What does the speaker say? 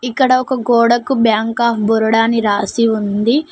ఇక్కడ ఒక గోడకు బ్యాంక్ ఆఫ్ బొరోడా అని రాసి ఉంది.